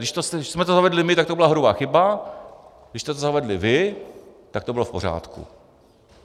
Když jsme to zavedli my, tak to byla hrubá chyba, když jste to zavedli vy, tak to bylo v pořádku.